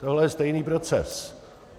Tohle je stejný proces.